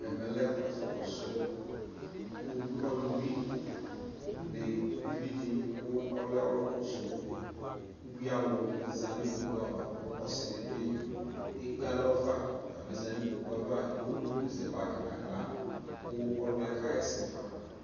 ɛmɛ lɛ ɛƒʋ kɔsʋ ɔlʋ bʋi ni ʋvi di kʋ ɔlɛ ɔlʋkɔsʋ ʋbʋi alʋ zanʋ ikpɔkʋ aɣa kʋ ɔsii dibi ɛkpɛ alɔ fa, ɔtabi zanʋ ikpɔkʋɛ aɣa, ɛwʋ dʋkʋ zɛ bagi nʋ ala kʋ ɔlʋɛ kayɛsɛ fa